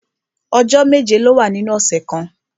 Ọjọ́ méje ló wà nínú ọ̀sẹ̀ kan